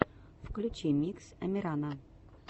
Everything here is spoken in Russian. включи микс амирана